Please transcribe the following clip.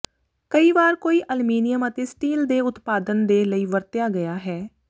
ਕਈ ਵਾਰ ਕੋਈ ਅਲਮੀਨੀਅਮ ਅਤੇ ਸਟੀਲ ਦੇ ਉਤਪਾਦਨ ਦੇ ਲਈ ਵਰਤਿਆ ਗਿਆ ਹੈ